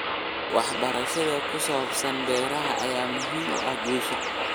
Waxbarashada ku saabsan beeraha ayaa muhiim u ah guusha.